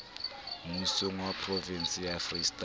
mmusong wa provense ya freistata